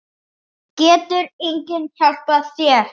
Getur enginn hjálpað þér?